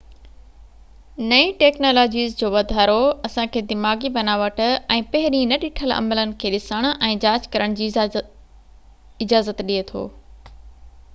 نئين ٽيڪنالاجيز جو واڌارو اسان کي دماغي بناوٽ ۽ پهرين نه ڏٺل عملن کي ڏسڻ ۽ جاچ ڪرڻ جي اجازت ڏي ٿو